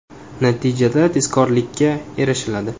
Natijada tezkorlikka erishiladi.